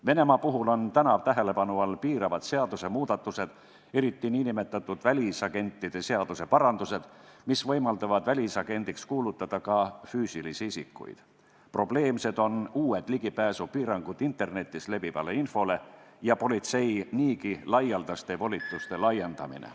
Venemaa puhul on tähelepanu all piiravad seadusemuudatused, eriti nn välisagentide seaduse parandused, mis võimaldavad välisagendiks kuulutada ka füüsilisi isikuid, probleemsed on uued piirangud internetis levivale infole ligipääsul ja politsei niigi laialdaste volituste laiendamine.